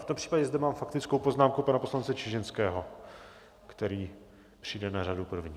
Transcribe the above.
V tom případě zde mám faktickou poznámku pana poslance Čižinského, který přijde na řadu první.